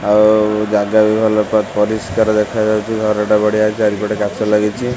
ଆଉ ଜାଗା ବି ଭଲ ପ ପରିଷ୍କାର ଦେଖାଯାଉଛି ଘରଟା ବଢ଼ିଆ ଚାରିପଟେ କାଚ ଲାଗିଛି।